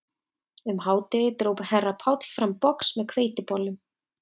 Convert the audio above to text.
Um hádegið dró herra Páll fram box með hveitibollum